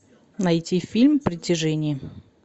найти фильм притяжение